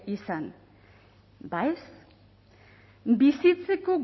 izan ba ez bizitzeko